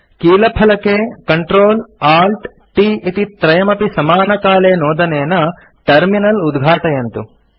कीलफलके Ctrl Alt t इति त्रयमपि समानकाले नोदनेन टर्मिनल उद्घाटयन्तु